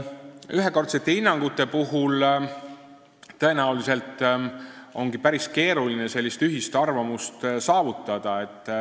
Ühekordsete hinnangute puhul ongi tõenäoliselt päris keeruline ühist arvamust saavutada.